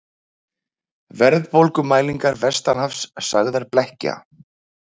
Verðbólgumælingar vestanhafs sagðar blekkja